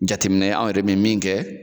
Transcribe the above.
Jateminɛ an yɛrɛ bɛ min kɛ